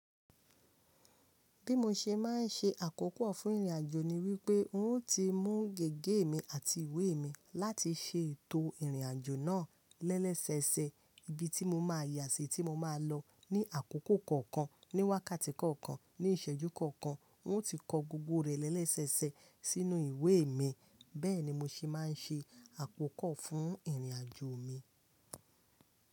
Bí mo ṣe má ń ṣe àkókò fún ìrìnàjò ni wípé n ó ti mú gègé mi àti ìwé mi láti ṣe ètò ìrìnàjò náà lẹ́sẹẹsẹ ibi tí mo ma yà sí, tí mo máa lọ ní àkókò kọ̀ọ̀kan, ní wákàtí kọ̀ọ̀kan, ní ìṣẹ́jú kọ̀ọ̀kan. N ó ti kọ gbogbo rẹ̀ lẹ́sẹẹsẹ sínú ìwé mi. Bẹ́ẹ̀ni mo ṣì máa ń ṣe àkókò fún ìrìnàjò mi.